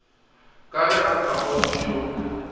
ka ge a hlapaotše yo